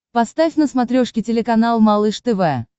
поставь на смотрешке телеканал малыш тв